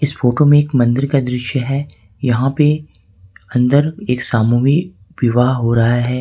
Photo में एक मंदिर का दृश्य है यहां पे अंदर एक सामूहिक विवाह हो रहा है।